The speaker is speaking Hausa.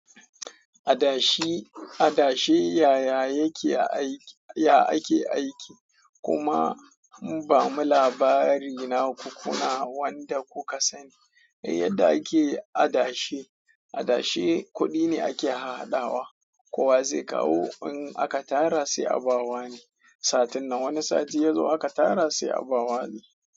Adashe yaya yake aiki? Kuma ba mu labari na ku kuna wanda kuka sani. Yadda ake adashe, adashe kuɗi ne ake hahhadawa. Kowa zai kawo in aka tara sai a ba wa ne. Satun nan wani sati ya zo aka tara sai a ba wa ne.